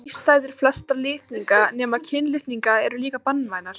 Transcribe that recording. Þrístæður flestra litninga nema kynlitninga eru líka banvænar.